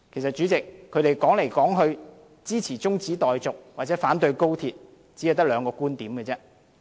主席，其實他們支持中止待續或反對高鐵來來去去只有兩個觀點。